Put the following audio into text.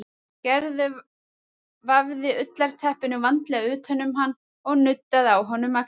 Gerður vafði ullarteppinu vandlega utan um hann og nuddaði á honum axlirnar.